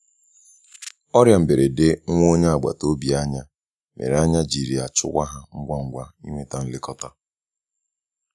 ọria mgberede nwa onye agbata obi anya, mere anya jịrị achụwa ha ngwa ngwa inweta nlekọta.